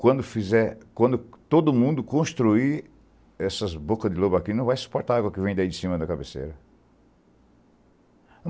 Quando fizer, quando todo mundo construir essa boca de lobo aqui, não vai suportar a água que vem daí de cima da cabeceira.